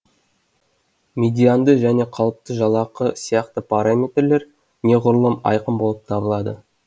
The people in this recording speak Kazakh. медианды және қалыпты жалақы сияқты параметрлер неғұрлым айқын болып табылады